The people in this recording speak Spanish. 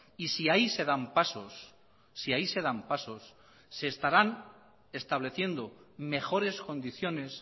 y si ahí se dan pasos si ahí se dan pasos seestarán estableciendo mejores condiciones